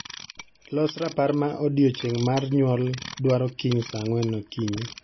Los rapar ma odiechieng' mar nyuol dwaro kiny saa ang'wen okinyi.